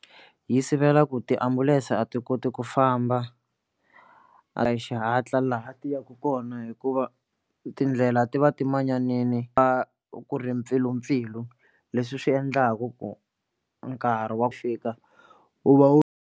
Yi sivela ku tiambulense a ti koti ku famba a hi xihatla laha ti yaka kona hikuva tindlela ti va ti manyanini va ku ri mpfilumpfilu leswi swi endlaku ku nkarhi wa ku fika wu va wu.